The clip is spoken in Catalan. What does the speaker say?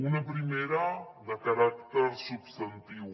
una primera de caràcter substantiu